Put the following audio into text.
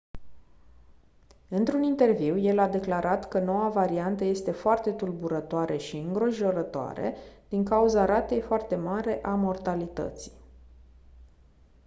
într-un interviu el a declarat că noua variantă este «foarte tulburătoare și îngrijorătoare din cauza ratei foarte mari a mortalității».